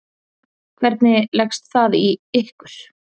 Hvernig leggst það í ykkur?